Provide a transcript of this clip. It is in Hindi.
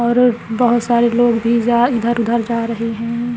और बहुत सारे लोग भी जा इधर-उधर जा रहे हैं।